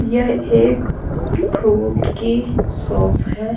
यह एक फुट की सोप है।